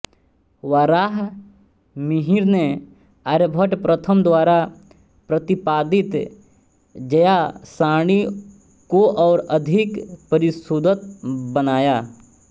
वाराहमिहिर ने आर्यभट्ट प्रथम द्वारा प्रतिपादित ज्या सारणी को और अधिक परिशुद्धत बनाया